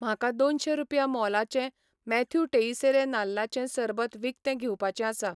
म्हाका दोनशे रुपया मोलाचें मॅथ्यू टेइसेरे नाल्लाचें सरबत विकतें घेवपाचें आसा